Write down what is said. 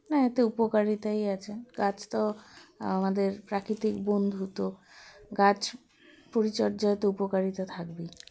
না এতে উপকারিতাই আছে গাছতো আমাদের প্রাকৃতিক বন্ধু তো গাছ পরিচর্যায় তো উপকারিতা থাকবেই